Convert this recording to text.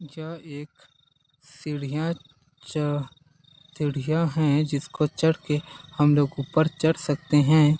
यह एक सीढियाँ च सीढियाँ है जिसको चढ़ के हम लोग ऊपर चढ़ सकते है।